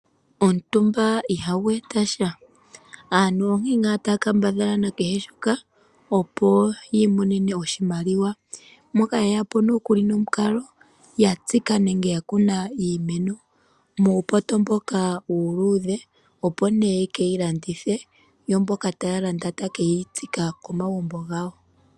Omutumba ihagu etasha. Aantu ohaya kambadhala kehe shimwe opo yi imonene oshimaliwa. Moka haye yapo nomukalo goku tsika nenge goku kuna iimeno muupoto mboka uuluudhe opo nee ye keyi landithe. Yo mboka taye yi landa taye keyi tsika komagumbo gawo.